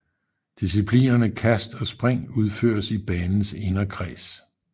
Disciplinerne kast og spring udføres i banens inderkreds